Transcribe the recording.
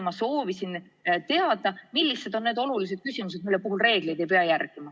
Ma soovisin teada, millised on need olulised küsimused, mille puhul reegleid ei pea järgima.